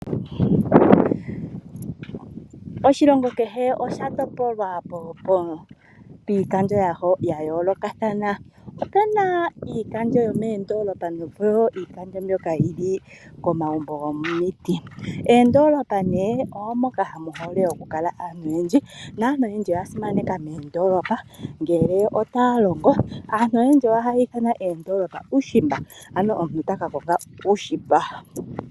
Oshilongo kehe osha topolwa miikandjo ya yoolokathana. Okuna iikandjo yomeendoolopa noshowo iikandjo mbyono yili komagumbo gomiti. Mondoolopa nee omooka mu hole oku kala aantu oyendji, naantu oyendji oya simaneka moondolopa ngele otaya longo. Aantu oyendji ohaya ithanwa oondolopa uushimba, ano omuntu taka konga uushimba.